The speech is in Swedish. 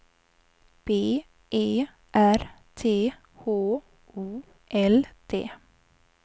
B E R T H O L D